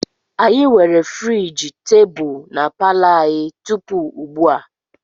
Anyị nwere friji tebụl na palo anyị tupu ugbu a.